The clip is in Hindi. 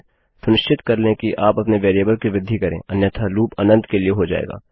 सुनिश्चित कर लें कि आप अपने वेरिएबल कि वृद्धि करें अन्यथा लूप अनंत के लिए हो जाएगा